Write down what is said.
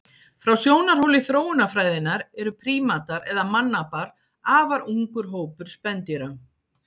Frá sjónarhóli þróunarfræðinnar eru prímatar eða mannapar afar ungur hópur spendýra.